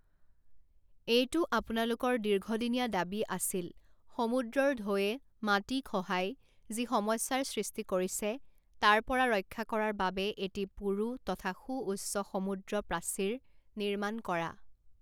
এইটো আপোনালোকৰ দীৰ্ঘদিনীয়া দাবী আছিল, সমুদ্ৰৰ ঢৌৱে মাটি খহাই যি সমস্যাৰ সৃষ্টি কৰিছে তাৰ পৰা ৰক্ষা কৰাৰ বাবে এটি পুৰু তথা সুউচ্চ সমুদ্ৰ প্ৰাচীৰ নিৰ্মাণ কৰা।